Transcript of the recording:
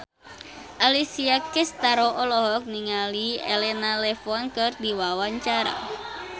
Alessia Cestaro olohok ningali Elena Levon keur diwawancara